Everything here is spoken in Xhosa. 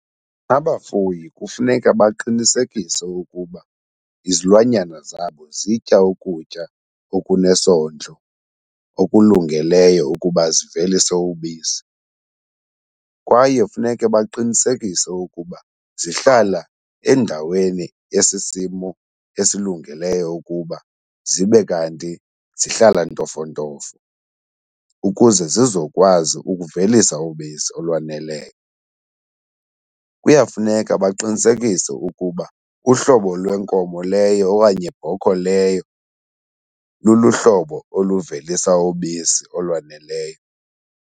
Abafuyi kufuneka baqinisekise ukuba izilwanyana zabo zitya ukutya okunesondlo, okulungeleyo ukuba zivelise ubisi. Kwaye funeke baqinisekise ukuba zihlala endaweni yesisimo esilungileyo ukuba zibe kanti zihlala ntofontofo ukuze zizokwazi ukuvelisa ubisi olwaneleyo. Kuyafuneka baqinisekise ukuba uhlobo lwenkomo leyo okanye bhokhwe leyo luluhlobo oluvelisa ubisi olwaneleyo.